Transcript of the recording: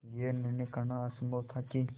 यह निर्णय करना असम्भव था कि